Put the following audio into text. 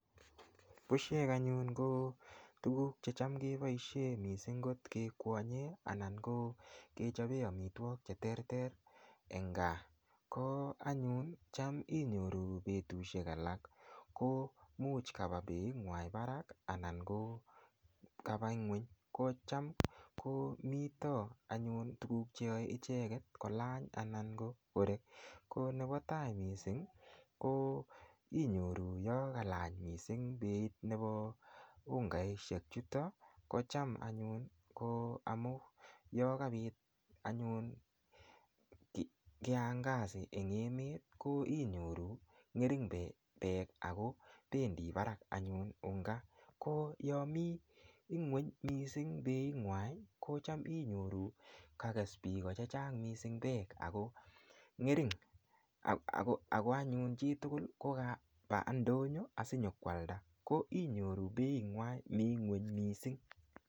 Bushek anyun ko tukuuk checham keboishe mising kot kekwonye anan ko kechopen amitwokik che terter eng kaa ko anyun cham inyoru petushek alak ko muuch kapa beitngwa barak anan ko kapa ng'weny kocham komito anyun tukuuk cheyoei icheket kolany anan ko korek ko nepo tai mising ko inyoru yo kalany mising beit nepo ungaishek chuto kocham anyun ko amun yo kapit anyun kiangazi eng emet ko inyoru ng'ering peek ako pendi barak anyun unga ko yomi ng'weny mising beitngwai ko cham inyoru kakes piko chechang mising peek ako anyun chitugul kokapa ndonyo asinyokoalda ko inyoru beitngwai mi ng'weny mising